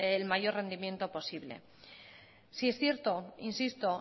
el mayor rendimiento posible sí es cierto insisto